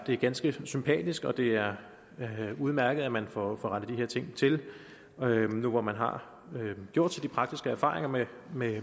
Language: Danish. er ganske sympatisk og det er udmærket at man får rettet de her ting til nu hvor man har gjort sig de praktiske erfaringer med med